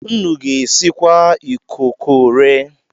Nnu ga-esikwasa ikokore?